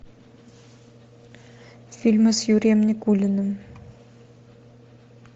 фильмы с юрием никулиным